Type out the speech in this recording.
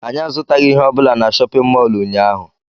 Anyị azụtaghị ihe ọ bụla na chọpịn mọọlụ ụnyaahụ.